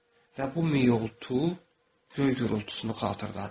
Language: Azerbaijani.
Və bu mioltu göy gurultusunu xatırladırdı.